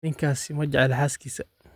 Ninkaasi ma jecla xaaskiisa